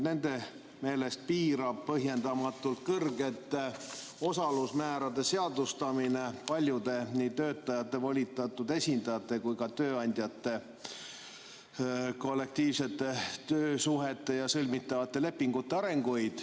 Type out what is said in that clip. Nende meelest piirab põhjendamatult kõrgete osalusmäärade seadustamine paljude nii töötajate volitatud esindajate kui ka tööandjate kollektiivsete töösuhete ja sõlmitavate lepingute arenguid.